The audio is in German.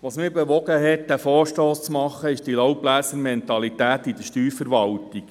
Was mich bewogen hat, diesen Vorstoss einzureichen, ist die «Laubbläser-Mentalität» in der Steuerverwaltung.